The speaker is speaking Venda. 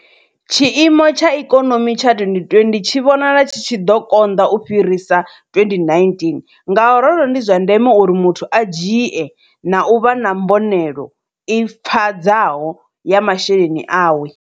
Tshiimo tsha ikonomi tsha 2020 tshi vhonala tshi tshi ḓo konḓa u fhirisa 2019, ngauralo ndi zwa ndeme uri muthu a dzhie na u vha na mbonelo i pfadzaho ya masheleni awe.